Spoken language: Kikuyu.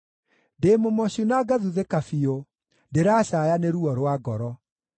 Ndĩ mũmocu na ngathuthĩka biũ; ndĩracaaya nĩ ruo rwa ngoro.